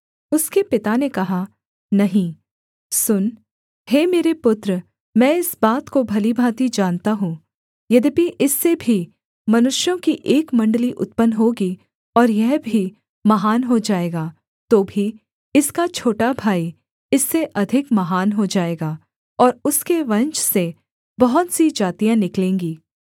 उसके पिता ने कहा नहीं सुन हे मेरे पुत्र मैं इस बात को भली भाँति जानता हूँ यद्यपि इससे भी मनुष्यों की एक मण्डली उत्पन्न होगी और यह भी महान हो जाएगा तो भी इसका छोटा भाई इससे अधिक महान हो जाएगा और उसके वंश से बहुत सी जातियाँ निकलेंगी